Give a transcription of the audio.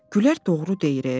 Gülər doğru deyir e.